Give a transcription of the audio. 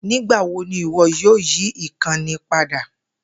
Nigbawo ni iwọ yoo yi ikanni pada?